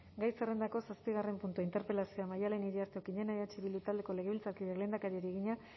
gai zerrendako zazpigarren puntua interpelazioa maddalen iriarte okiñena eh bildu taldeko legebiltzarkideak lehendakariari egina